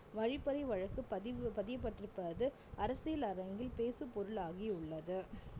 வழிப்பறி வழக்கு பதிவு பதியப் பட்டிருப்பது அரசியல் அரங்கில் பேசு பொருளாகியுள்ளது